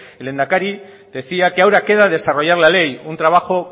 el lehendakari decía que ahora queda desarrollar la ley un trabajo